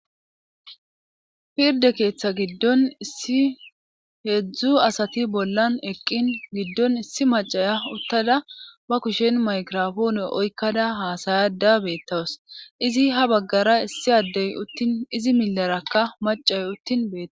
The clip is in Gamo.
Pirde keeththa giddon issi heedzdzu asati bollan eqqin giddon issi macaya uttada ba kushen maykirofoone oykkada haasayada beettawas izi ha baggara issi addey uttin izi millarakka macay uttin beeta..